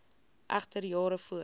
egter jare voor